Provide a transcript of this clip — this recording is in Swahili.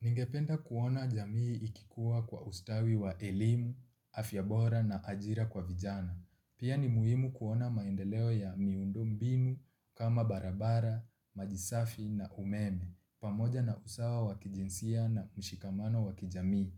Ningependa kuona jamii ikikuwa kwa ustawi wa elimu, afya bora na ajira kwa vijana. Pia ni muhimu kuona maendeleo ya miundo mbinu kama barabara, majisafi na umeme. Pamoja na usawa wakijinsia na mshikamano wakijamii.